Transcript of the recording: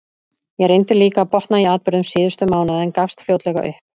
Ég reyndi líka að botna í atburðum síðustu mánaða, en gafst fljótlega upp.